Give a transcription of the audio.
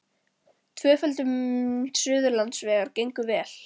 Tvöföldun Suðurlandsvegar gengur vel